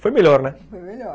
Foi melhor, né? Foi melhor!